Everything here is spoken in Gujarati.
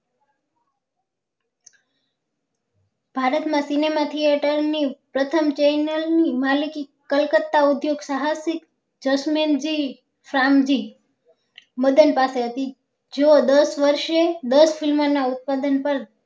ભારત માં cinema થી એ time પ્રથમ channel ની માલિકી કલકત્તા ઉદ્યોગ સાહસિક જસ્મેન જી શ્યામ જી મદન પાસે હશે જો દસ વર્ષે દર film ના ઉત્પાદન પર